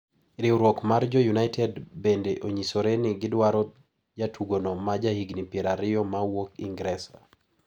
Riwruok mar jo United bende onyisore ni gidwaro jatugono ma jahigni pier ariyo ma wuok Ingresa.